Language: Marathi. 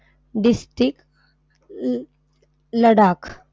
District ल लडाख.